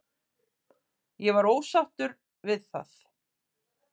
Ég var ósáttur við það.